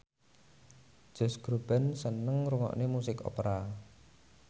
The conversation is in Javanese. Josh Groban seneng ngrungokne musik opera